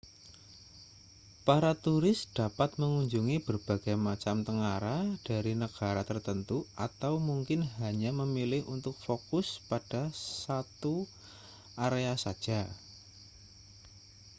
para turis dapat mengunjungi berbagai macam tengara dari negara tertentu atau mungkin hanya memilih untuk fokus pada satu area saja